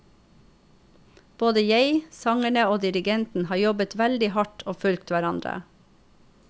Både jeg, sangerne og dirigenten har jobbet veldig hardt og fulgt hverandre.